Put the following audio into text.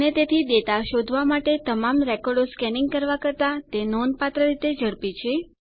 અને તેથી ડેટા શોધવાં માટે તમામ રેકોર્ડો સ્કેનીંગ કરવાં કરતા તે નોંધપાત્ર રીતે ઝડપી છે